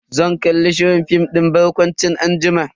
Zan kalli shirin fim din barkwanci anjima.